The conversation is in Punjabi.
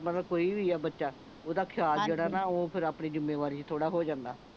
ਮਤਲਬ ਕੋਈ ਵੀ ਆ ਬੱਚਾ ਓਹਦਾ ਖਿਆਲ ਜਿਹੜਾ ਨਾ ਓਹ ਫੇਰ ਆਪਣੀ ਜਿੱਮੇਵਾਰੀ ਚ ਥੋੜਾ ਹੋ ਜਾਂਦਾ